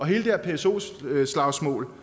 her pso slagsmål